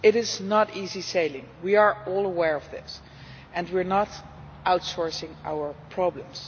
It is not plain sailing we are all aware of this, and we are not outsourcing our problems.